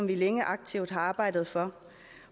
vi længe aktivt har arbejdet for